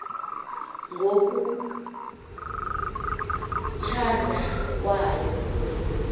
ngo kuthanda kwayo